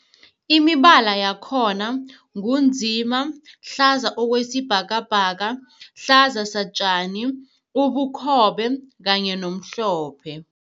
Imibala yakhona ngu nzima, hlaza okwesibhakabhaka, hlaza satjani, ubukhobe kanye nomhlophe.